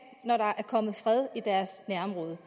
når der er kommet fred i deres nærområde